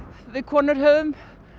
við konur höfum